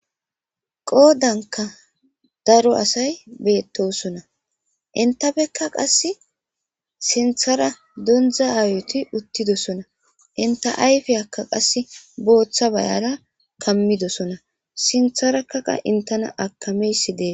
qoodanka daro asay beettosona intapekka qasse sinthara dondza ayuti uttidosona inta ayfe akka qasse booththa bayara kammidosona sintharakaqa intena akameysi dee